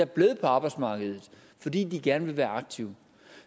blevet på arbejdsmarkedet fordi de gerne vil være aktive